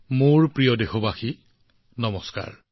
মোৰ মৰমৰ দেশবাসীসকল নমস্কাৰ